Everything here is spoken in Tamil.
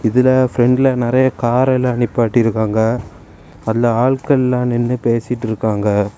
இதுல பிரண்ட்ல நறைய கார்ல நிப்பாட்டிருக்காங்க அதுலெ ஆட்கள்லா நின்னு பேசிட்டிருக்காங்க.